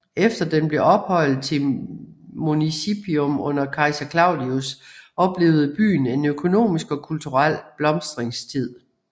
Efter den blev ophøjet til Municipium under kejser Claudius oplevede byen en økonomisk og kulturel blomstringstid